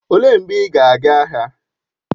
Olee mgbe ị ga aga ahịa?